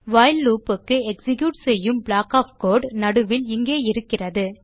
while loop க்கு execute செய்யும் block of code நடுவில் இங்கே இருக்கிறது